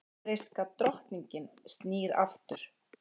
Færeyska drottningin snýr aftur